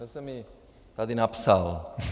Já jsem ji tady napsal.